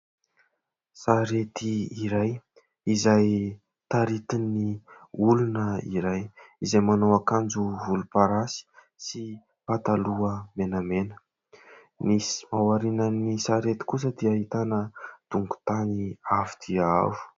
Sarety iray izay taritin'ny olona iray izay manao akanjo volomparasy sy pataloha menamena; misy ao aorinan'ny sarety kosa dia ahitana dongon-tany avo dia avo.